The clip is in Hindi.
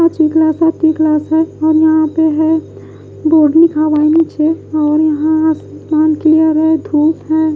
पांचवी क्लास आपकी क्लास है और यहां पे है बोर्ड लिखा हुआ है नीचे और यहां आसमान क्लियर है धूप है।